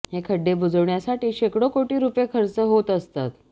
हे खड्डे बुजवण्यासाठी शेकडो कोटी रुपये खर्च होत असतात